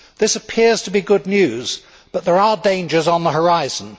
This appears to be good news, but there are dangers on the horizon.